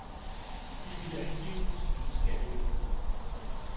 De ville angiveligt snyde skattevæsenet.